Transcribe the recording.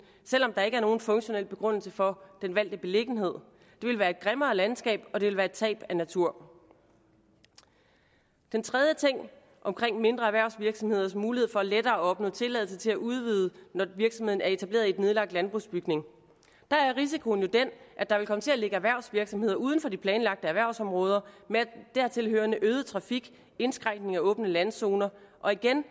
selv om der ikke er nogen funktionel begrundelse for den valgte beliggenhed det vil være et grimmere landskab og det vil være et tab af natur den tredje ting er omkring mindre erhvervsvirksomheders muligheder for lettere at opnå tilladelse til at udvide når virksomheden er etableret i en nedlagt landbrugsbygning der er risikoen jo den at der vil komme til at ligge erhvervsvirksomheder uden for de planlagte erhvervsområder med dertilhørende øget trafik indskrænkning af åbne landzoner og igen